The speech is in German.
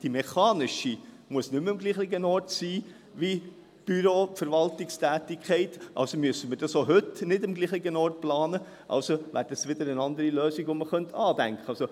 Die mechanische Prüftätigkeit muss nicht mehr am gleichen Ort sein wie die Büros, die Verwaltungstätigkeit, also müssen wir dies auch heute nicht am gleichen Ort planen, also wäre dies wieder eine andere Lösung, die man andenken könnte.